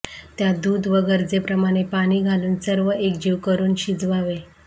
त्यात दूध व गरजेप्रमाणे पाणी घालून सर्व एकजीव करून शिजवावे